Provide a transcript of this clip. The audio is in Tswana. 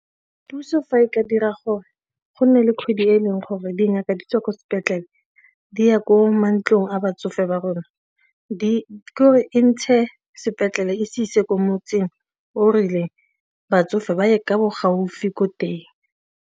Puso fa e ka dira gore go nne le kgwedi e leng gore dingaka di tswa kwa sepetlele di ya ko mantlong a batsofe ba rona ke gore e ntshe sepetlele e se ise ko motseng o rileng batsofe ba ye ka bo gaufi ko teng.